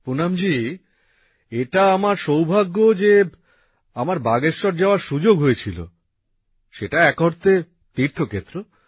পুনমজী এটা আমার সৌভাগ্য যে আমার বাগেশ্বর যাওয়ার সুযোগ হয়েছিল সেটা এক অর্থে তীর্থক্ষেত্র